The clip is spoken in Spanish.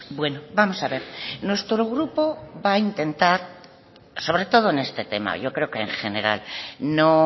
bueno vamos a ver nuestro grupo va a intentar sobre todo en este tema yo creo que en general no